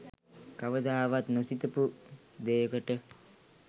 කවදාවත් නොසිතපු දෙයකට.